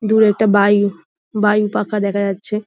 দূরে একটা বায়ু বায়ু পাখা দেখা যাচ্ছে।